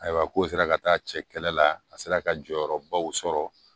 Ayiwa k'o sera ka taa cɛ kɛlɛ la a sera ka jɔyɔrɔbaw sɔrɔ